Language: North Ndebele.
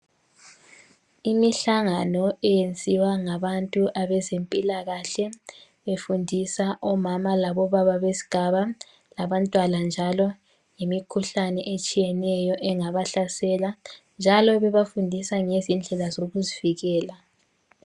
Imihlangano yenziwa ngabantu bezempilakahle, befundisa omama labobaba besigaba labantwana njalo, ngemikhuhlane etshiyeneyo engabahlasela njalo bebafundisa ngendlela zokuzivikela.